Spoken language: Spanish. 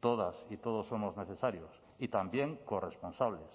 todas y todos somos necesarios y también corresponsables